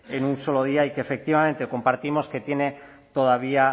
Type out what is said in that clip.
en un solo día y que efectivamente compartimos que tiene todavía